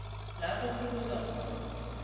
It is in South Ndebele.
la kukhulunywa khona